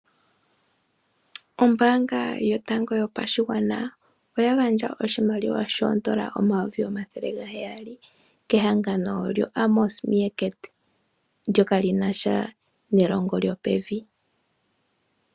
Ombaanga yotango yoshigwana oya gandja oshimaliwa shoodola omayovi omathele gaheyali kehangano lyoAmos Meerkat ndyoka li na sha nelongo lyopevi.